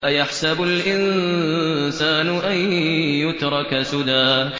أَيَحْسَبُ الْإِنسَانُ أَن يُتْرَكَ سُدًى